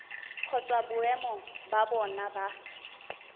kgotsa boemo ba bona ba